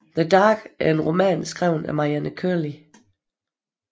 The Dark er en roman skrevet af Marianne Curley